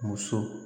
Muso